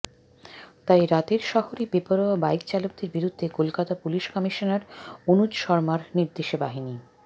তাই রাতের শহরে বেপরোয়া বাইক চালকদের বিরুদ্ধে কলকাতার পুলিশ কমিশনার অনুজ শর্মার নির্দেশে বাহিনী